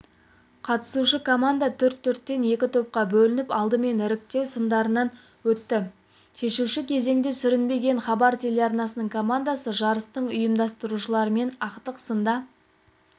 қатысушы команда төрт төрттен екі топқа бөлініп алдымен іріктеу сындарынан өтті шешуші кезеңде сүрінбеген хабар теларнасының командасы жарыстың ұйымдастырушыларымен ақтық сында